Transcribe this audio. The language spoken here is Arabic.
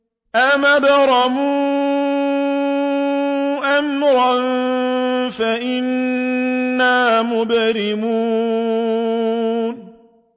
أَمْ أَبْرَمُوا أَمْرًا فَإِنَّا مُبْرِمُونَ